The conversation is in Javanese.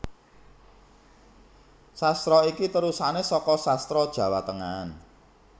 Sastra iki terusané saka Sastra Jawa Tengahan